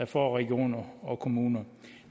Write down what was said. for regioner og kommuner